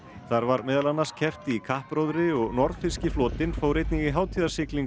þar var meðal annars keppt í kappróðri og flotinn fór einnig í